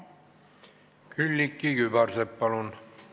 Külliki Kübarsepp, palun!